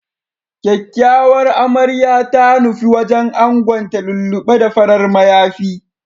Kyakyawar Amarya ta nufi wajen angonta lullu6e da farar mayafi.